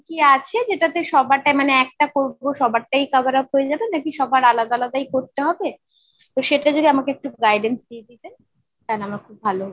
উম কি আছে যেটাতে সবারটা মানে একটা করবো সবারটাই cover up হয়ে যাবে নাকি সবার আলাদা আলাদাই করতে হবে ? তো সেটা যদি আমাকে একটু guidance দিয়ে দিতেন তাহলে আমার খুব ভালো হত।